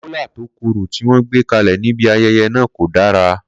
Kola tó korò tí wọ́n gbé kalẹ̀ níbi ayẹyẹ náà kò dára.